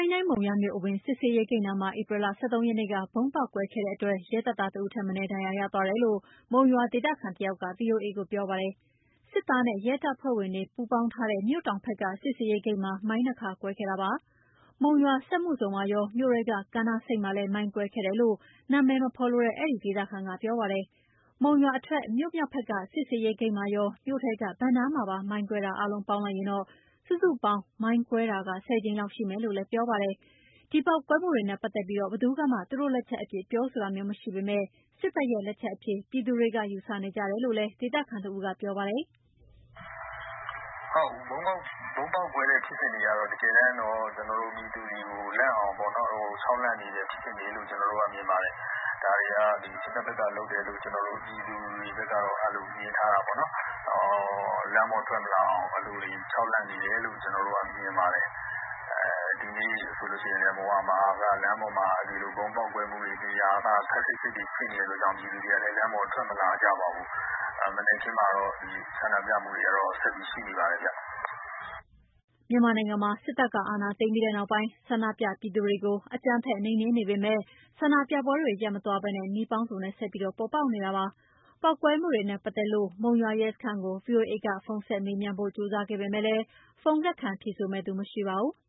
င်းတိုင်း၊ မုံရွာမြို့အဝင်စစ်ဆေးရေးဂိတ်နားမှာ ဧပြီ ၁၃ ရက်နေ့က ဗုံးပေါက်ကွဲခဲ့တဲ့အတွက် ရဲတပ်သား တဦးထက်မနည်း ဒဏ်ရာရသွားတယ်လို့ မုံရွာဒေသခံတယောက်က ဗွီအိုအေကို ပြောပါတယ်။ စစ်သားနဲ့ ရဲတပ်ဖွဲ့ဝင်တွေ ပူးပေါင်းထားတဲ့ မြို့တောင်ဖက်က စစ်ဆေးရေးဂိတ်မှာ မိုင်း ၂ ခါကွဲခဲ့တာပါ။ မုံရွာစက်မှုဇုံမှာရော မြို့ထဲက ကမ်းနားဆိပ်မှာလည်း မိုင်းကွဲခဲ့တယ်လို့ နာမည်မဖော်လိုတဲ့အဲဒီဒေသခံက ပြောပါတယ်။ မုံရွာအထွက် မြို့မြောက်ဖက်က စစ်ဆေးရေးဂိတ်မှာရော မြို့ထဲက ဘဏ်နားမှာပါမိုင်းကွဲတာအားလုံးပေါင်းရင် စုစုပေါင်း မိုင်းကွဲတာ ၁၀ ကြိမ်လောက်ရှိတယ်လို့လည်း ပြောပါတယ်။ ဒီပေါက်ကွဲမှုတွေနဲ့ပတ်သက်ပြီးဘယ်သူကမှသူတို့လက်ချက်အဖြစ် ပြောဆိုတာမျိုးမရှိပေမယ့် စစ်တပ်ရဲ့လက်ချက်အဖြစ် ယူဆသူတွေရှိတယ်လို့ ဒေသခံတဦးက ပြောပါတယ်။ “ ဗုံးပေါက်ကွဲတဲ့ဖြစ်စဉ်တွေက တကယ်တော့ ပြည်သူတွေလန့်အောင် ခြောက်လှန့်နေတဲ့ဖြစ်စဉ်လို့ ကျနော်တို့မြင်ပါတယ်။ ဒါတွေက စစ်တပ်ဖက်က လုပ်တယ်လို့ ကျနော်တို့ပြည်သူတွေကတော့ မြင်ထားတာပေါ့နော်။ လမ်းပေါ်ထွက်မလာအောင် အဲဒီလိုခြောက်လှန့်နေတယ်လု့ိ ကျနော်တို့မြင်ပါတယ်။ ဒီနေ့ဆိုလို့ရှိရင်လည်း မုံရွာမှာက လမ်းပေါ်မှာ ဗုံးပေါက်ကွဲတဲ့နေရာက ခပ်စိပ်စိပ်ဖြစ်နေတာကြောင့်မို့လို့ ပြည်သူတွေကလည်း လမ်းပေါ်ထွက်မလာကြပါဘူး။ မနက်ခင်းမှာတော့ ဆန္ဒပြမှုတွေကတော့ ဆက်ရှိနေပါတယ်ဗျ” မြန်မာနိုင်ငံမှာ စစ်တပ်က အာဏာသိမ်းပြီးနောက်ပိုင်း ဆန္ဒုပြပြည်သူတွေကို အကြမ်းဖက်နှိမ်နှင်းနေပေမယ့် ဆန္ဒပြပွဲတွေရပ်မသွားပဲ နည်းပေါင်းစုံနဲ့ဆက်ပြီးပေါ်ပေါက်နေတာဖြစ်ပါတယ်။ ပေါက်ကွဲမှုတွေနဲ့ပတ်သက်လို မုံရွာရဲစခန်းကို ဗွီအိုအေက ဖုန်းဆက်မေးမြန်းဖို့ ကြိုးစားခဲ့ပေမယ့် ဖုန်းလက်ခံဖြေဆိုမယ့်သူမရှိပါဘူး။